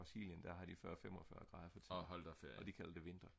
Brasilien der har de 40-45 grader for tiden og de kalder det vinter